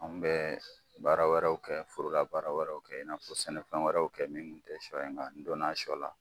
An bɛ baara wɛrɛw kɛ, forora baara wɛrɛraw kɛ, i n'a fɔ sɛnɛfɛn wɛrɛw kɛ, min kun te sɔ ye, nka n donna sɔ la.